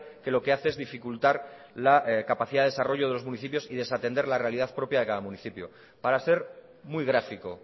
que lo que hace es dificultar la capacidad de desarrollo de los municipios y desatender la realidad propia de cada municipio para ser muy gráfico